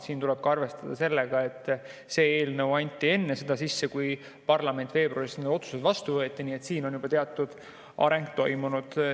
Siin tuleb arvestada sellega, et see eelnõu anti sisse enne seda, kui parlament veebruaris otsused vastu võttis, nii et siin on juba teatud areng toimunud.